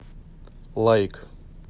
лайк